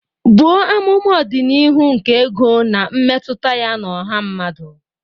Buo amụma ọdịnihu nke ego na mmetụta ya na ọha mmadụ.